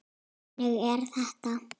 Þannig er þetta.